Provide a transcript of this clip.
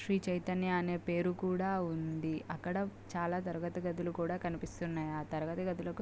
శ్రీ చైతన్య అనే పేరు కూడా ఉంది. అక్కడ చాలా తరగతి గదులు కూడా కనిపిస్తున్నాయి. ఆ తరగతి గదులకు--